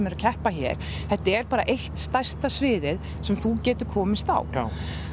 eru að keppa hér þetta er bara eitt stærsta sviðið sem þú getur komist á